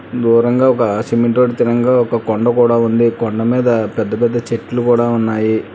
దూరంగా ఒక ఆ సిమెంట్ రోడ్డు తిరంగా ఒక కొండ కూడా ఉంది కొండమీద పెద్దపెద్ద చెట్లు కూడా ఉన్నాయి.